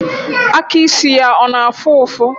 Aka ịsị ya ọ na afụ ụfụ?